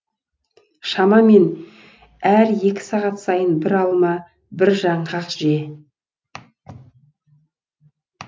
шамамен әр екі сағат сайын бір алма бір жаңғақ же